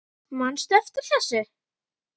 Manstu eftir þessum?